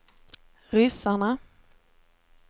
ryssarna